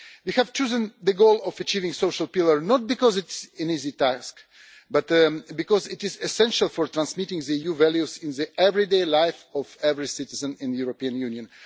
We have chosen the goal of achieving the social pillar, not because it is an easy task but because it is essential for transmitting EU values into the everyday life of every citizen in the European Union.